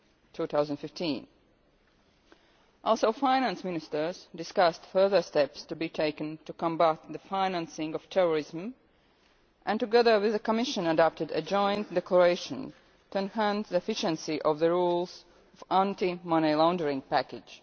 2015. Also, the Finance Ministers discussed further steps to be taken to combat the financing of terrorism and, together with the Commission, adopted a joint declaration with a view to more efficient application of the rules in the anti money laundering package.